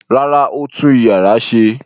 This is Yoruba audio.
Rárá, ó tú ìyàrá ṣe.